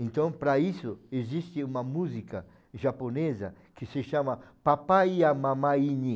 Então, para isso, existe uma música japonesa que se chama Papai e a Mamãe